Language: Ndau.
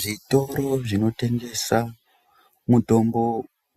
Zvitoro zvinotengesa mutombo